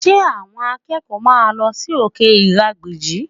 Ṣé àwọn akẹ́kọ̀ọ́ máa lọ sí òkè ìrágbìjí?